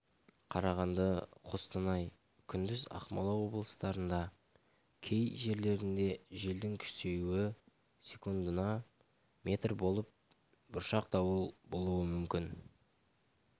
қарағанды қостанай күндіз ақмола облыстарында кей жерлерде желдің күшеюі секундына метр болып бұршақ дауыл болуы мүмкін